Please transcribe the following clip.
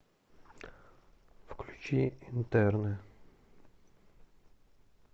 включи интерны